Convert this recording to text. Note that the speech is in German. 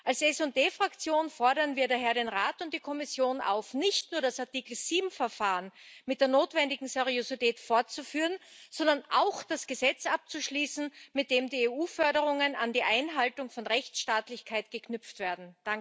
Als SD Fraktion fordern wir daher den Rat und die Kommission auf, nicht nur das Artikel 7 Verfahren mit der notwendigen Seriosität fortzuführen, sondern auch das Gesetz abzuschließen, mit dem die EU Förderungen an die Einhaltung von Rechtsstaatlichkeit geknüpft werden.